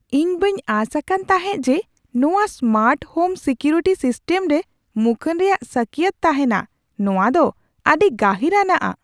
ᱤᱧ ᱵᱟᱹᱧ ᱟᱸᱥ ᱟᱠᱟᱱ ᱛᱟᱦᱮᱸ ᱡᱮ ᱱᱚᱶᱟ ᱥᱢᱟᱨᱴ ᱦᱳᱢ ᱥᱤᱠᱤᱭᱩᱨᱤᱴᱤ ᱥᱤᱥᱴᱮᱢ ᱨᱮ ᱢᱩᱠᱷᱟᱹᱱ ᱨᱮᱭᱟᱜ ᱥᱟᱹᱠᱤᱭᱟᱹᱛ ᱛᱟᱦᱮᱱᱟ ᱾ ᱱᱚᱶᱟ ᱫᱚ ᱟᱹᱰᱤ ᱜᱟᱹᱦᱤᱨᱟᱱᱟᱜᱼᱟ ᱾